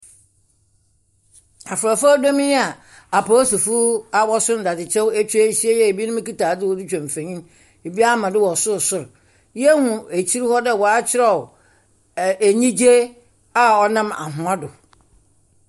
Yi a apolisifo a wɔso ndadze kyɛw eta ahyia yi a binom kita adze wɔdze twa mfonin. Bi ama do wɔ sorsor. Yɛhunu wɔ akyir hɔ dɛ wɔakyerɛw ɛ enyigye a ɔnam . Do.